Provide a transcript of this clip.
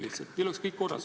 Nii oleks kõik korras.